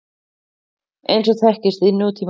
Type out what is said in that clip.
eins og þekkist í nútímanum.